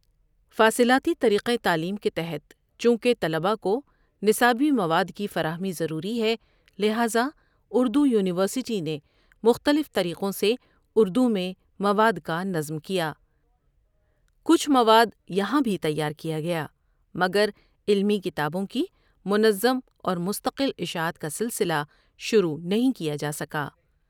فاصلاتی طریقیہ تعلیم کے تحت چونکہ طلبہ کو نصابی مواد کی فراہمی ضروری ہے لٰہندا اُردو یونیورسٹی نے مختلف طریقوں سے اُردو مواد کا نظم کیا۔ کچھ موادیہاں بھی تیارکیا گیا مگر علمی کتابوں کی منظم اور مستٮقل اشاعت کا سلسلہ شروع نہیں کیا جاسکا۔